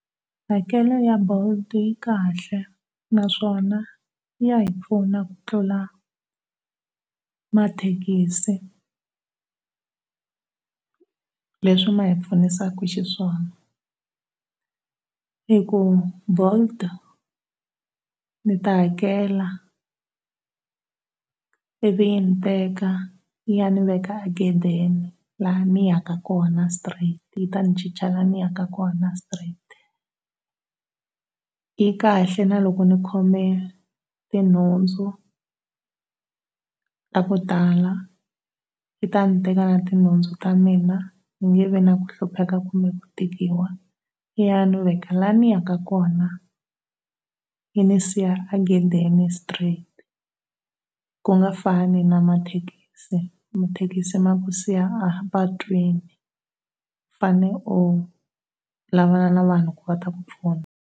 Hakelo ya bolt yi kahle naswona ya hi pfuna ku tlula mathekisi leswi ma hi pfunisaka xiswona hi ku bolt ndzi ta hakela ivi yi ni veka, yi ya ni veka ghedeni laha ndzi ya ka kona straight, yi ta ni chicha laha ni ya ka kona straight, yi kahle na loko ndzi khome tinhundzu ta ku tala, yi ta ndzi teka na ti nhundzu ta mina ndzi nge vi na ku hlupheka kumbe ku tikiwa, ya ni veka lani ni ya ka kona, yini siya a ghedeni straight ku nga fani na mathekisi, mathekisi ma ku siya a patwini u fanele u lavalavana na vanhu leswaku va ta ku pfuna.